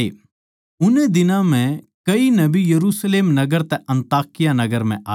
उननै दिनां म्ह कई नबी यरुशलेम नगर तै अन्ताकिया नगर आए